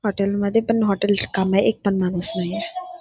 Hotel मध्ये पण hotel ची कामे एक पण माणूस नाहीये.